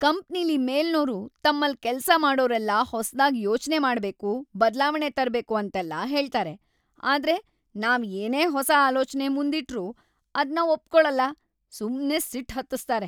ಕಂಪ್ನಿಲಿ ಮೇಲ್ನೋರು ತಮ್ಮಲ್ಲ್‌ ಕೆಲ್ಸ ಮಾಡೋರೆಲ್ಲ ಹೊಸ್ದಾಗ್‌ ಯೋಚ್ನೆ ಮಾಡ್ಬೇಕು, ಬದ್ಲಾವಣೆ ತರ್ಬೇಕು ಅಂತೆಲ್ಲ ಹೇಳ್ತಾರೆ, ಆದ್ರೆ ನಾವ್‌ ಏನೇ ಹೊಸ ಆಲೋಚ್ನೆ ಮುಂದಿಟ್ರೂ ಅದ್ನ ಒಪ್ಕೊಳಲ್ಲ, ಸುಮ್ನೆ ಸಿಟ್ಟ್‌ ಹತ್ತುಸ್ತಾರೆ.